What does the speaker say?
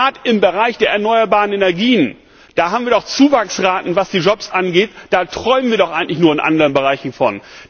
Gerade im Bereich der erneuerbaren Energien haben wir doch Zuwachsraten, und was die Jobs angeht, da träumen wir doch eigentlich in anderen Bereichen nur davon.